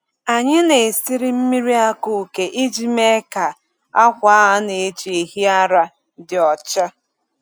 Anyị na-esiri mmiri akueke iji mee ka akwa a na-eji ehi ara dị ọcha.